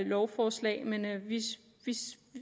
lovforslag men vi